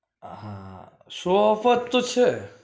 હા show off જ તો છે